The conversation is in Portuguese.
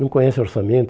Não conhece orçamento.